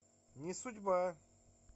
не судьба